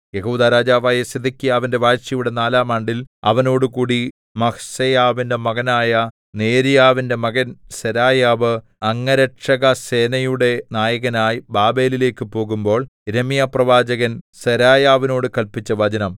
യെഹൂദാ രാജാവായ സിദെക്കീയാവിന്റെ വാഴ്ചയുടെ നാലാം ആണ്ടിൽ അവനോടുകൂടി മഹ്സേയാവിന്റെ മകനായ നേര്യാവിന്റെ മകൻ സെരായാവ് അംഗരക്ഷകസേനയുടെ നായകനായി ബാബേലിലേക്ക് പോകുമ്പോൾ യിരെമ്യാപ്രവാചകൻ സെരായാവിനോട് കല്പിച്ച വചനം